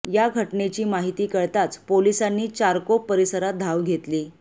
या घटनेची माहिती कळताच पोलिसांनी चारकोप परिसरात धाव घेतली